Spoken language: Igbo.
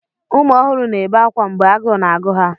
Ụmụ ọhụrụ na-ebe akwa mgbe agụụ na-agụ ha.